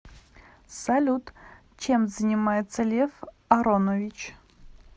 салют чем занимается лев аронович